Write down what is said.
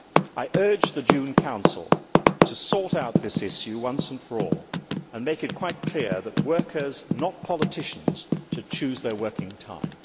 I urge the June Council to sort out this issue once and for all, and to make it quite clear that workers, not politicians, should choose their working time.